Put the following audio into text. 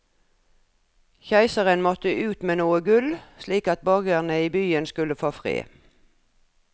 Keiseren måtte ut med noe gull, slik at borgerne i byen skulle få fred.